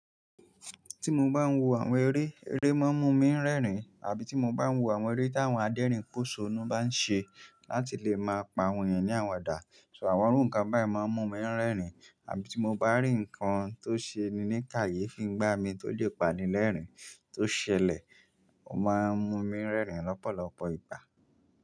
Tí mo bá ń wo àwọn eré, eré máa ń mú mi ń rẹ́rìn. Àbí tí mo bá ń wo àwọn eré tí àwọn adérìn pòṣónú bá ń ṣe láti lè máa pa wọ́n yẹn ní àwadà. So àwọn irúkàn báyìí máa ń mú mi ń rẹ́rìn. Àbí tí mo bá rí nǹkan tó ṣe ni ní kàyé fín gbá mi tó lè pani lẹ́rìn tó ṣẹlẹ̀, ó máa ń mú mi ń rẹ́rìn lọ́pọ̀lọpọ̀ ìgbà.